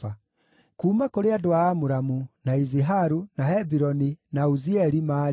Kuuma kũrĩ andũ a Amuramu, na Iziharu, na Hebironi, na Uzieli maarĩ: